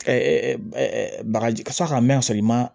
bagaji san ka mɛn ka sɔrɔ i ma